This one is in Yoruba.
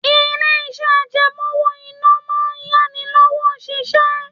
Ilé-iṣẹ́ àjẹmọ́ owó-ìná máa ń yá ni lówó ṣiṣẹ́